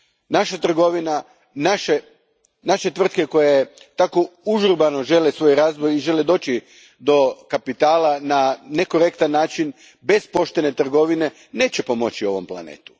Naša trgovina, naše tvrtke koje tako užurbano žele svoj razvoj i doći do kapitala na nekorektan način, bez poštene trgovine, neće pomoći ovom planetu.